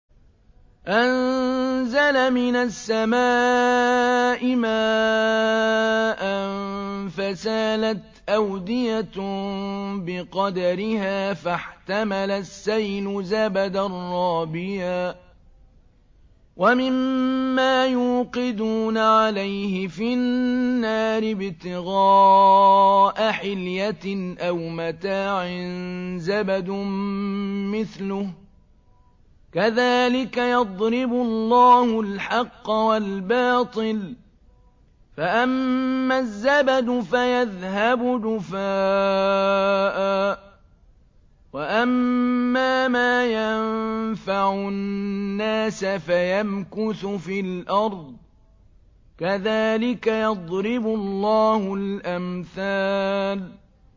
أَنزَلَ مِنَ السَّمَاءِ مَاءً فَسَالَتْ أَوْدِيَةٌ بِقَدَرِهَا فَاحْتَمَلَ السَّيْلُ زَبَدًا رَّابِيًا ۚ وَمِمَّا يُوقِدُونَ عَلَيْهِ فِي النَّارِ ابْتِغَاءَ حِلْيَةٍ أَوْ مَتَاعٍ زَبَدٌ مِّثْلُهُ ۚ كَذَٰلِكَ يَضْرِبُ اللَّهُ الْحَقَّ وَالْبَاطِلَ ۚ فَأَمَّا الزَّبَدُ فَيَذْهَبُ جُفَاءً ۖ وَأَمَّا مَا يَنفَعُ النَّاسَ فَيَمْكُثُ فِي الْأَرْضِ ۚ كَذَٰلِكَ يَضْرِبُ اللَّهُ الْأَمْثَالَ